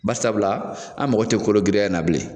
Barisabula an mago tɛ kologiriya in na bilen.